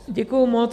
Děkuji moc.